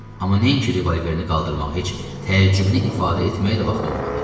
Amma nəinki revolverini qaldırmaq, heç təəccübünü ifadə etməyə də vaxtı olmadı.